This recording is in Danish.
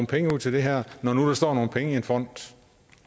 penge ud til det her når nu der står nogle penge i en fond